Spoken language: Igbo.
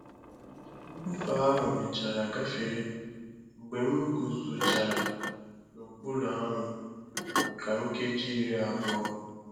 Mbufe ahụ mechara gafere mgbe m guzochara n'okpuru anwụ maka nkeji iri abụọ.